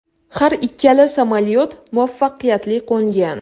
Har ikkala samolyot muvaffaqiyatli qo‘ngan.